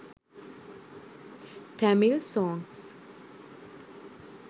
tamil songs